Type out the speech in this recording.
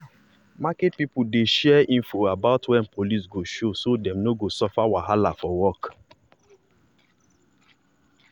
market people dey share info about when police go show so dem no go suffer wahala for work.